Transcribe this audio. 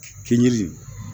Kinji